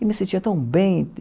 E me sentia tão bem.